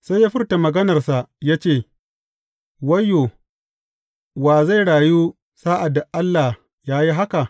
Sai ya furta maganarsa ya ce, Wayyo, wa zai rayu sa’ad da Allah ya yi haka?